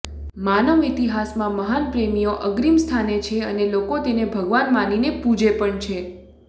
માનવ ઈતિહાસમાં મહાન પ્રેમીઓ અગ્રીમસ્થાને છે અને લોકો તેને ભગવાન માનીને પૂજે પણ છે